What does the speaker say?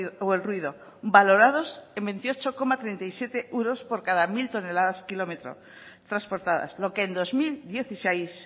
o el ruido valorados en veintiocho coma treinta y siete euros por cada mil toneladas km transportadas lo que en dos mil dieciséis